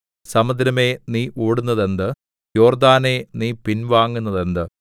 സമുദ്രമേ നീ ഓടുന്നതെന്ത് യോർദ്ദാനേ നീ പിൻവാങ്ങുന്നതെന്ത്